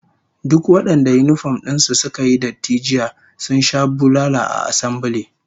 Duk wadanda yinifom din su suka yi datti jiya sun sha bulala a assambile